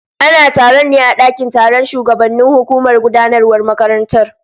Ana taron ne a dakin taron shugabannin hukumar gudanarwar makarantar